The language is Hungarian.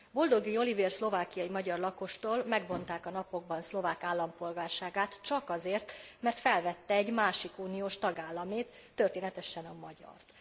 Boldogi Olivér szlovákiai magyar lakostól megvonták a napokban szlovák állampolgárságát csak azért, mert felvette egy másik uniós tagállamét, történetesen a magyart.